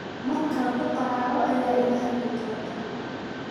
Marka kukaraco aya ilaxadlidhinta.